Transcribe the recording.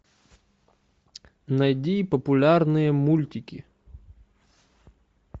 найди популярные мультики